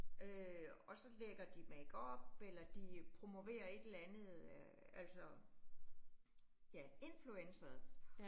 Øh og så lægger de makeup, eller de promoverer et eller andet øh altså ja influencers